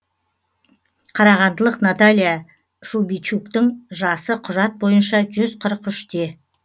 қарағандылық наталья шубичуктың жасы құжат бойынша жүз қырық үште